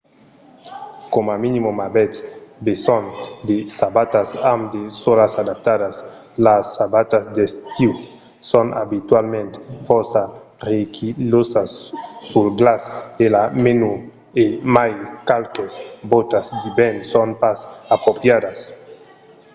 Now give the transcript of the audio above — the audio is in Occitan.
coma minimum avètz besonh de sabatas amb de sòlas adaptadas. las sabatas d’estiu son abitualament fòrça resquilhosas sul glaç e la nèu e mai qualques bòtas d’ivèrn son pas apropriadas